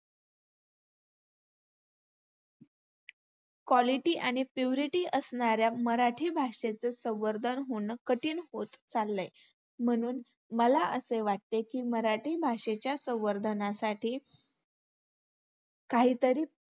quality आणि purity असणाऱ्या मराठी भाषेचं संवर्धन होणं कठीण होत चाललंय. म्हणून मला असे वाटते की मराठी भाषेच्या संवर्धनासाठी काहीतरी